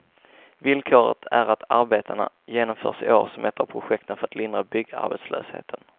Villkoret är att arbetena genomförs i år som ett av projekten för att lindra byggarbetslösheten.